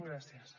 gràcies